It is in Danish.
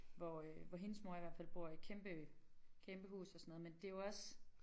Hvor øh hvor hendes mor i hvert fald bor i kæmpe øh kæmpe hus og sådan noget men det jo også